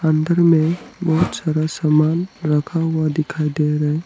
अंदर में बहुत सारा सामान रखा हुआ दिखाई दे रहा है।